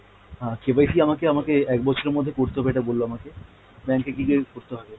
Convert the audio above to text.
হ্যাঁ KYC আমাকে আমাকে এক বছরের করতে হবে এটা বললো আমাকে, bank এ গিয়ে করতে হবে